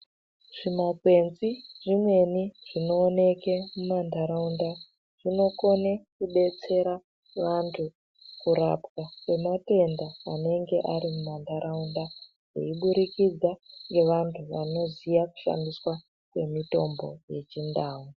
Zvimakwenzi zvemene zvinooneke mumantaraunda zvinokone kudetsera vantu kurapwa kwematenda anenge ari mumantaraunda veiburikidza ngevantu vanoziya kushandiswa kwemitombo yechindau.